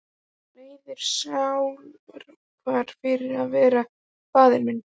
Leið sálarkvalir fyrir að vera faðir minn.